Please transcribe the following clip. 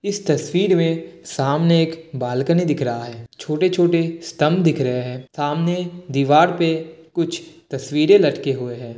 इस तस्वीर मे सामने एक बालकनी दिख रहा है। छोटे-छोटे स्टंप दिख रहै है। सामने दीवार पे कुछ तस्वीरे लटके हुए है।